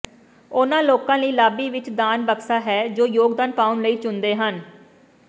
ਉਨ੍ਹਾਂ ਲੋਕਾਂ ਲਈ ਲਾਬੀ ਵਿਚ ਦਾਨ ਬਕਸਾ ਹੈ ਜੋ ਯੋਗਦਾਨ ਪਾਉਣ ਲਈ ਚੁਣਦੇ ਹਨ